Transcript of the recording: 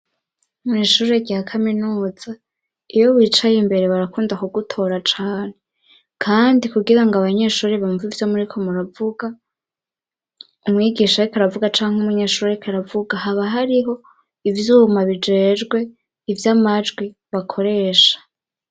Mu ishuri rya kaminuza, iyo wicaye imbere barakunda ku gutora cane. Kandi kugira ngo abanyeshuri bumve ivyo muri ko muravuga, umwigisha ariko aravuga canke umunyeshure oriko aravuga haba hariho ivyuma bijejwe ivy'amajwi bakoresha.